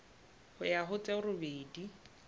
ho ya ho tse robedi